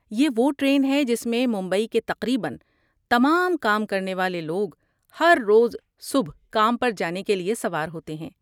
یہ وہ ٹرین ہے جس میں ممبئی کے تقریباً تمام کام کرنے والے لوگ ہر روز صبح کام پر جانے کے لیے سوار ہوتے ہیں۔